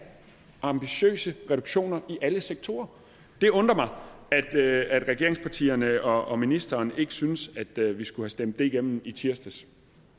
ambitiøse reduktioner i alle sektorer det undrer mig at regeringspartierne og ministeren ikke synes at vi skulle have stemt det hjem i tirsdags